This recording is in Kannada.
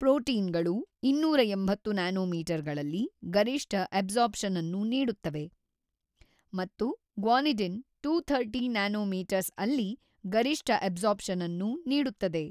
ಪ್ರೊಟೀನ್ ಗಳು ೨೮೦ ನ್ಯಾನೊಮೀಟರ್ ಗಳಲ್ಲಿ ಗರಿಷ್ಠ ಅಬ್ಸರ್ಪ್ ಶನ್ ಅನ್ನು ನೀಡುತ್ತವೆ ಮತ್ತು ಗ್ವಾನಿಡಿನ್ ಟೂತರ್ಟೀ ನ್ಯಾನೊಮೀಟರ್ಸ್ ಅಲ್ಲಿ ಗರಿಷ್ಠ ಅಬ್ಸರ್ಬನ್ಸ್ ಅನ್ನು ನೀಡುತ್ತದೆ.